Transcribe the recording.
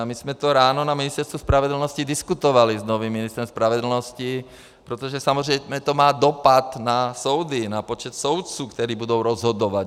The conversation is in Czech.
A my jsme to ráno na Ministerstvu spravedlnosti diskutovali s novým ministrem spravedlnosti, protože samozřejmě to má dopad na soudy, na počet soudců, kteří budou rozhodovat.